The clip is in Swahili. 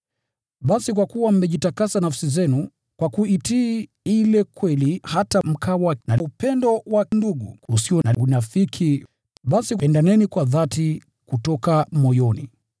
Basi kwa kuwa mmejitakasa nafsi zenu kwa kuitii ile kweli hata mkawa na upendo wa ndugu usio na unafiki, basi pendaneni kwa dhati kutoka moyoni.